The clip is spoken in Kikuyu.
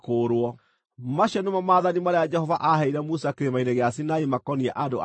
Macio nĩmo maathani marĩa Jehova aaheire Musa Kĩrĩma-inĩ gĩa Sinai makoniĩ andũ a Isiraeli.